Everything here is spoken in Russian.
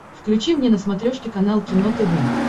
включи мне на смотрешке канал кино тв